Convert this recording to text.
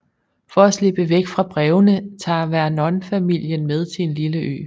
For at slippe væk fra brevene tager Vernon familien med til en lille ø